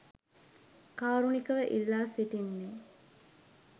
කාරුණිකව ඉල්ලා සිටින්නේ